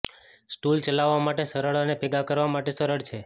stool ચલાવવા માટે સરળ અને ભેગા કરવા માટે સરળ છે